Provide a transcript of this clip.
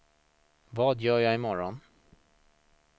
vad gör jag imorgon